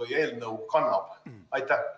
või eelnõu kannab?